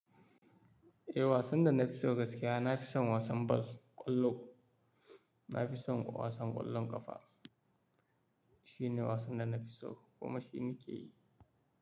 Eh wasan da na fi so gaskiya, na fi son wasan bal, ƙwallo. Na fi son wasan ƙwallon ƙafa. Shi ne wasan da na fi so kuma shi ni ke yi.